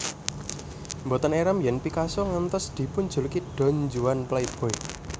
Mboten éram yèn Picasso ngantos dipunjuluki Don Juan playboy